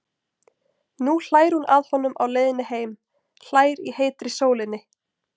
Nú hlær hún að honum á leiðinni heim, hlær í heitri sólinni.